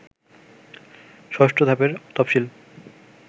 ৬ষ্ঠ ধাপের তফসিল